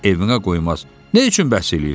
Nə üçün bəhs eləyirsən?